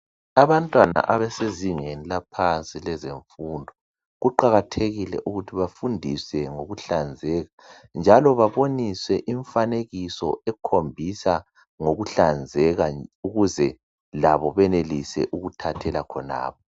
Abantwana abasezingezi laphansi lezefundo kuqakathekile ukuthi bafundise ngokuhlanzeka njalo baboniswe imifanekiso ekhombisa ngokuhlanzeka ukuze labo benelise ukuthathele khonapha.